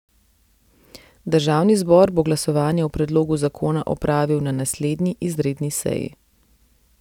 Državni zbor bo glasovanje o predlogu zakona opravil na naslednji izredni seji.